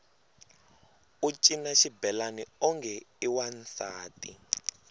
u cina xibelani onge i wansati